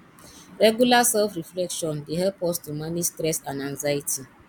regular self reflection dey help us to manage stress and anxiety